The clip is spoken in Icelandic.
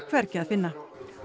hvergi að finna